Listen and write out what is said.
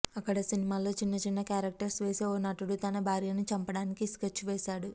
అక్కడ సినిమాల్లో చిన్నచిన్న కారెక్టర్స్ వేసే ఓ నటుడు తన భార్యను చంపడానికి స్కెచ్ వేసాడు